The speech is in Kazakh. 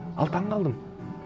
ал таңғалдым